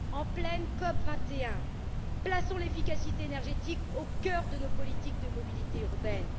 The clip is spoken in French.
En pleine COP 21, plaçons l'efficacité énergétique au cœur de nos politiques de mobilité urbaine.